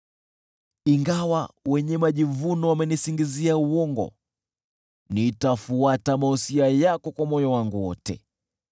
Ingawa wenye majivuno wamenisingizia uongo, nitafuata mausia yako kwa moyo wangu wote.